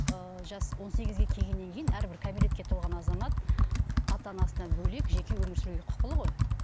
ы жасы он сегізге келгеннен кейін әрбір кәмелетке толған азамат ата анасынан бөлек жеке өмір сүруге құқылы ғой